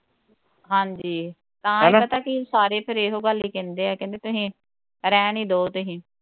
ਹਾਂਜੀ ਤਾਂ ਈ ਪਤਾ ਕਿ ਸਾਰੇ ਫਿਰ ਇਹੋ ਗੱਲ ਹੀ ਕਹਿੰਦੇ ਕਹਿੰਦੇ ਤੁਹੀ ਰਹਿਣ ਹੀ ਦੋ ਤੁਹੀ